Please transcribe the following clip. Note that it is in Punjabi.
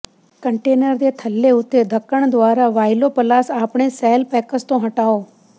ਕੰਟੇਨਰ ਦੇ ਥੱਲੇ ਉੱਤੇ ਧੱਕਣ ਦੁਆਰਾ ਵਾਇਲੋ ਪਲਾਸ ਆਪਣੇ ਸੈੱਲ ਪੈਕਸ ਤੋਂ ਹਟਾਓ